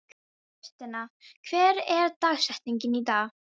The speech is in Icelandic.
Tristana, hver er dagsetningin í dag?